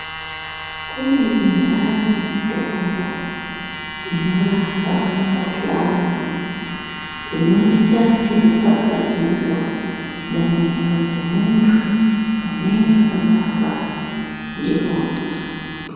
Kune indani mitombo inorapa mikuhlani inoita ngekupfapfadzira mumiro dzmunthu unenge abatwa ndiwona.